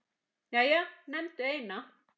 Jæja, nefndu eina